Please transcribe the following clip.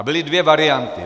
A byly dvě varianty.